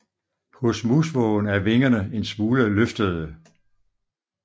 Hos musvågen er vingerne en smule løftede